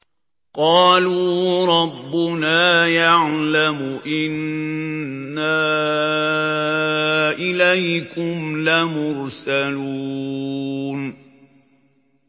قَالُوا رَبُّنَا يَعْلَمُ إِنَّا إِلَيْكُمْ لَمُرْسَلُونَ